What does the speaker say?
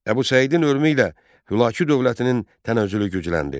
Əbu Səidin ölümü ilə Hülaki dövlətinin tənəzzülü gücləndi.